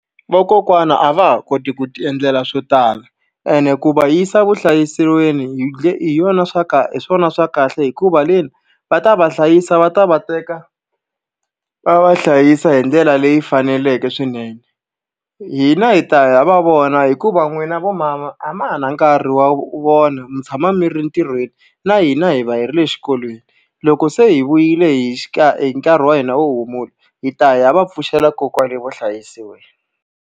Vakokwana a va ha koti ku ti endlela swo tala, ene ku va yisa evuhlayiselweni hi hi yona hi swona swa kahle hikuva le ni, va ta va hlayisa va ta va teka va va hlayisa hi ndlela leyi faneleke swinene. Hina hi ta ya hi ya va vona hikuva n'wina vo mama a ma ha na nkarhi wa vona, mi tshama mi ri entirhweni, na hina hi va hi ri le xikolweni. Loko se hi vuyile hi hi nkarhi wa hina wo humula hi ta ya va pfuxela kona kwale vuhlayiselweni.